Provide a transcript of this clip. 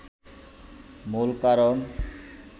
মূল কারণ